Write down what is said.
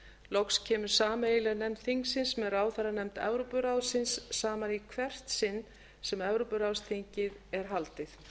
loks kemur sameiginleg nefnd þingsins með ráðherranefnd evrópuráðsins saman í hvert sinn sem evrópuráðsþingið er haldið